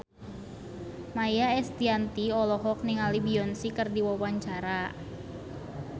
Maia Estianty olohok ningali Beyonce keur diwawancara